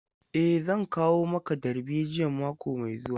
E, zan kawo maka darbejiyan mako mai zuwa.